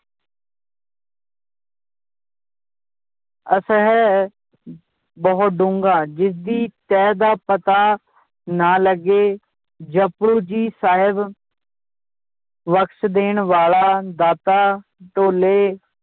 ਅਸਹਿ ਬਹੁਤ ਡੂੰਗਾ ਜਿਸਦੀ ਤਹਿ ਦਾ ਪਤਾ ਨਾ ਲੱਗੇ, ਜਪੁਜੀ ਸਾਹਿਬ ਬਖ਼ਸ ਦੇਣ ਵਾਲਾ ਦਾਤਾ ਢੋਲੇ